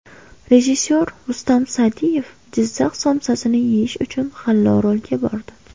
Rejissor Rustam Sa’diyev Jizzax somsasini yeyish uchun G‘allaorolga bordi.